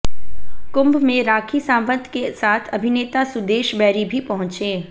कुंभ में राखी सावंत के साथ अभिनेता सुदेश बैरी भी पहुंचे